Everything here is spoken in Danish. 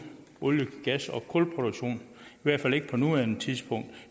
olie gas og kulproduktion i hvert fald ikke på nuværende tidspunkt